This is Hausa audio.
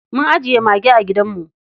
Mun ajiye mage a gidanmu.